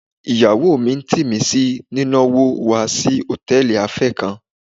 Ìyàwó mi ń tì mí sí ní ná wò wa si Hòtẹ́lìì afé kan.